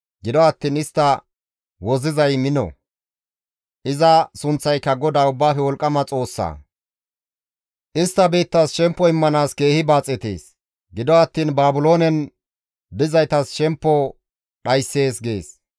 Gido attiin istta wozzizay mino; iza sunththayka GODAA Ubbaafe Wolqqama Xoossaa; istti biittas shemppo immanaas keehi baaxetees; gido attiin Baabiloonen dizaytas shemppo dhayssees» gees.